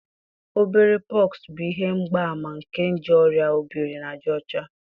obere pox bụ ihe mgbaàmà nke nje oria obiri na aja ocha